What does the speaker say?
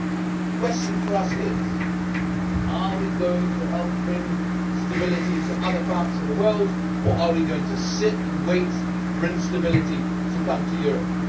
The question for us is, are we going to help bring stability to other parts of the world, or are we going to sit and wait for instability to come to Europe?